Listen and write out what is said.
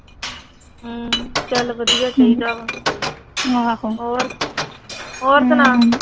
ਹਮ ਚਲ ਵਧੀਆ ਚਾਹੀਦਾ ਵਾ। ਹੋਰ ਸੁਣਾ